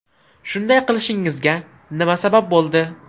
Shunday qilishingizga nima sabab bo‘ldi?